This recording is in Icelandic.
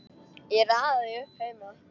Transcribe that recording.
Ég raðaði því upp heima.